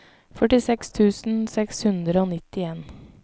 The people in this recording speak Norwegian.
førtiseks tusen seks hundre og nittien